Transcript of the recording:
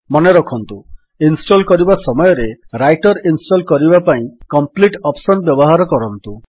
ମନେରଖନ୍ତୁ ଇନଷ୍ଟଲ୍ କରିବା ସମୟରେ ରାଇଟର୍ ଇନଷ୍ଟଲ୍ କରିବା ପାଇଁ କମ୍ପ୍ଲିଟ୍ ଅପ୍ସନ୍ ବ୍ୟବହାର କରନ୍ତୁ